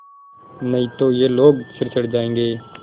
नहीं तो ये लोग सिर चढ़ जाऐंगे